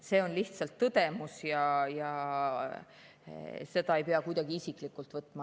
See on lihtsalt tõdemus ja seda ei pea kuidagi isiklikult võtma.